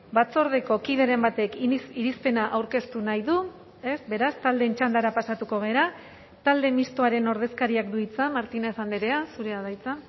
batzordeko kideren batek irizpena aurkeztu nahi du ez beraz taldeen txandara pasatuko gara talde mistoaren ordezkariak du hitza martínez andrea zurea da hitza